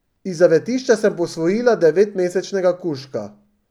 Iz zavetišča sem posvojila devetmesečnega kužka.